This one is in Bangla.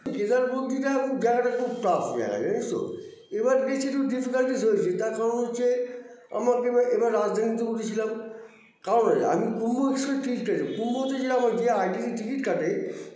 কেদার বদ্রীটা জায়গাটা খুব tough জায়গা জানিসতো এবার দেখছি যে difficulties হয়েছে তার কারণ হচ্ছে আমরা এবার রাজধানীতে উঠেছিলাম কারণ আছে আমি কুম্ভ express -এ ticket কুম্ভতে আমার যে itc ticket কাটে